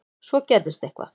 Svo gerðist eitthvað.